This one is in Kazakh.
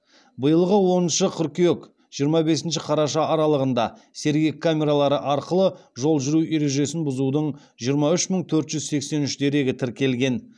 биылғы оныншы қыркүйек жиырма бесінші қараша аралығында сергек камералары арқылы жол жүру ережесін бұзудың жиырма үш мың төрт жүз сексен үш дерегі тіркелген